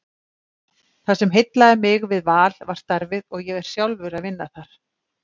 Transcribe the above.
Það sem heillaði mig við Val var starfið og ég er sjálfur að vinna þar.